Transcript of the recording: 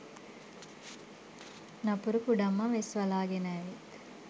නපුරු කුඩම්ම වෙස් වලාගෙන ඇවිත්